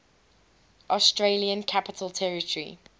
australian capital territory